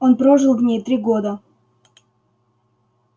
он прожил в ней три года